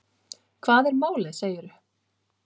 Hvað er málið, segirðu?